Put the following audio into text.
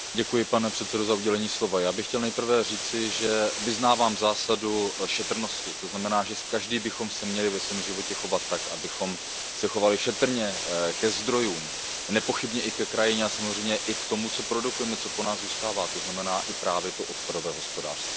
Pane předsedající, já bych chtěl nejprve říci, že vyznávám zásadu šetrnosti, to znamená, že každý bychom se měli ve svém životě chovat tak, abychom se chovali šetrně ke zdrojům, nepochybně i ke krajině a samozřejmě i k tomu, co produkujeme, co po nás zůstává, to znamená právě i to odpadové hospodářství.